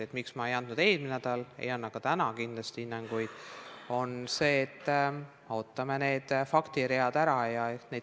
Põhjus, miks ma ei andnud eelmisel nädalal ega anna ka täna hinnanguid, on see, et ootame need faktiread ära.